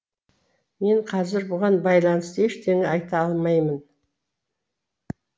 мен қазір бұған байланысты ештеңе айта алмаймын